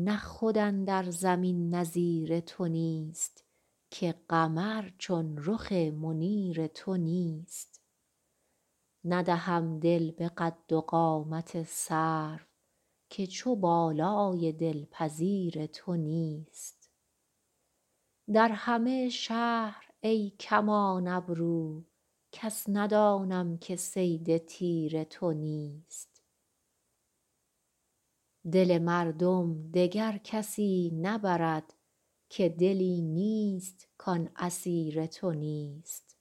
نه خود اندر زمین نظیر تو نیست که قمر چون رخ منیر تو نیست ندهم دل به قد و قامت سرو که چو بالای دلپذیر تو نیست در همه شهر ای کمان ابرو کس ندانم که صید تیر تو نیست دل مردم دگر کسی نبرد که دلی نیست کان اسیر تو نیست